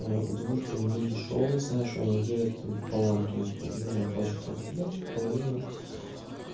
удовольствие недешёвое знаю что они делят там пополам то есть половину оплачивает работодатель половину